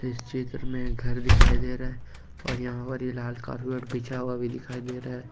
इस चित्र में एक घर दिखाई दे रहा है और यहा पर ये लाल कारपेट बिछा हुआ भी दिखाई दे रहा है।